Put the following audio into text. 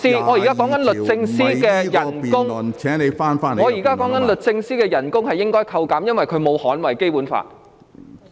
我現正指出應該削減律政司司長的薪酬，因為她沒有捍衞《基本法》。